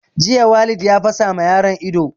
Jiya Walid ya fasa ma yaron nan ido